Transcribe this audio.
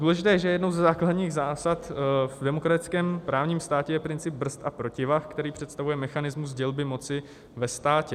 Důležité je, že jednou ze základních zásad v demokratickém právním státě je princip brzd a protivah, který představuje mechanismus dělby moci ve státě.